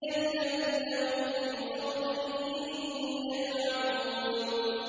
الَّذِينَ هُمْ فِي خَوْضٍ يَلْعَبُونَ